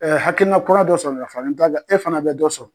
hakilina kura dɔ sɔrɔ ka fara n ta kan e fana bɛ dɔ sɔrɔ.